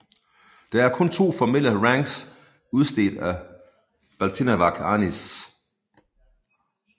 Der er kun to formelle ranks udstedt af Balintawak Arnis